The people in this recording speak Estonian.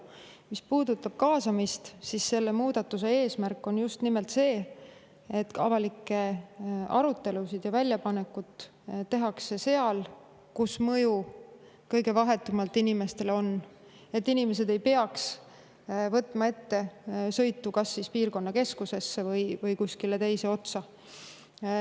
Mis puudutab kaasamist, siis selle muudatuse eesmärk on just nimelt see, et avalikke arutelusid ja väljapanekut tehtaks seal, kus on mõju inimestele kõige vahetum, et inimesed ei peaks võtma ette sõitu kas piirkonnakeskusesse või kuskile teise otsa.